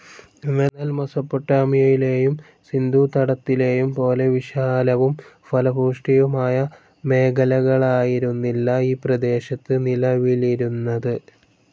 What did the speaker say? എന്നാൽ മെസോപ്പൊട്ടാമിയയിലെയും സിന്ധൂതടത്തിലെയും പോലെ വിശാലവും ഫലഭൂയിഷ്ടവുമായ മേഖലകാലായിരുന്നില്ല ഈ പ്രദേശത് നിലവിലിരുന്നതു.